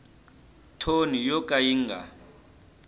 thoni yo ka yi nga